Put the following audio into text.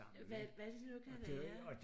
Hvad hvad det nu kan være